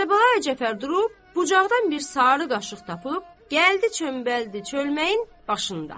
Kərbəlayı Cəfər durub bucaqdan bir sarı qaşıq tapıb gəldi çöməldi çölməyin başında.